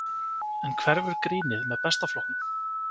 En hverfur grínið með Besta flokknum?